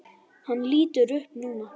Hann lítur upp núna.